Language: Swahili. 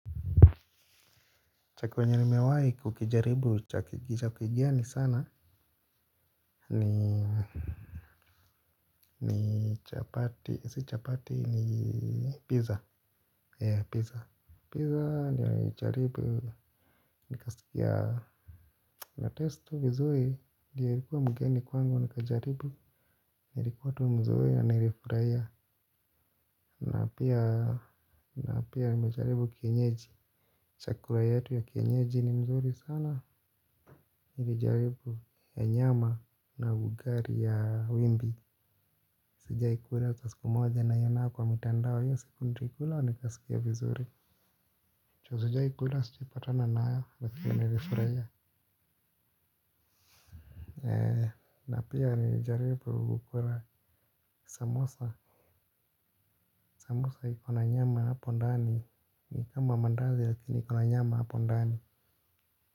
Cha kwenye nimewahi kukijaribu chakigeni sana. Ni ni chapati si chapati ni pizza ee pizza. Pizza nijaribu nikasikia. Na inataste ty vizuri ilikuwa mgeni kwangu nikajaribu. Nilikuwa tu mzuri anayefurahia. Na pia na pia nimejaribu kienyeji. Chakula yetu ya kienyeji ni mzuri sana nilijaribu ya nyama na ugali ya wimbi. Sijai kula hata siku moja naiona kwa mitandao. Hiyo siku nilikula nikasikia vizuri juu sijai kula sijepatana nayo lakini nilifurahia. Na pia nilijaribu kukula samosa. Samosa iko na nyama hapo ndani. Ni kama mandazi lakini iko na nyama hapo ndani.